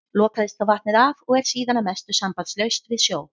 Lokaðist þá vatnið af og er síðan að mestu sambandslaust við sjó.